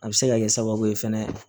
A bɛ se ka kɛ sababu ye fɛnɛ